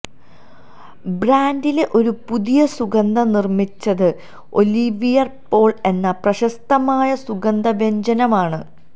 ബ്രാൻഡിലെ ഒരു പുതിയ സുഗന്ധം നിർമ്മിച്ചത് ഓലിവിയർ പോൾ എന്ന പ്രശസ്തമായ സുഗന്ധവ്യഞ്ജനമാണ്